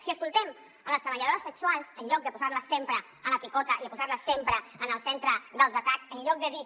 si escoltem les treballadores sexuals en lloc de posar les sempre a la picota i de posar les sempre en el centre dels atacs en lloc de dir